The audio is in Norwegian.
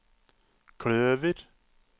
kløver